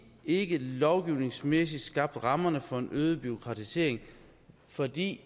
ikke lovgivningsmæssigt har skabt rammerne for en øget bureaukratisering fordi